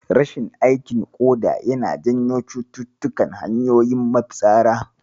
Rashin aikin ƙoda yana janyo cututtukan hanyoyin mafitsara.